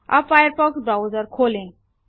अब Firefox browser खोलें